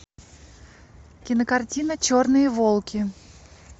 кинокартина черные волки